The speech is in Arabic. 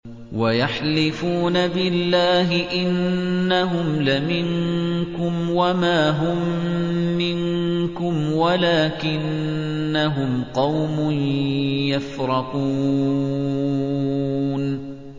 وَيَحْلِفُونَ بِاللَّهِ إِنَّهُمْ لَمِنكُمْ وَمَا هُم مِّنكُمْ وَلَٰكِنَّهُمْ قَوْمٌ يَفْرَقُونَ